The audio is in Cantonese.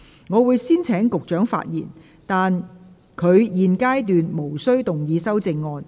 我會先請局長發言，但他在現階段無須動議修正案。